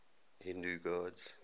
hindu gods